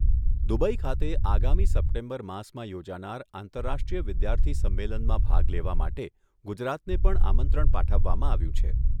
Dubai ખાતે આગામી September માસમાં યોજાનાર આંતરરાષ્ટ્રીય વિધાર્થી સંમેલનમાં ભાગ લેવા માટે ગુજરાતને પણ પાઠવવામાં આવ્યું છે.